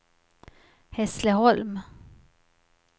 Hässleholm